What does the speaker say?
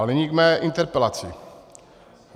Ale nyní k mé interpelaci.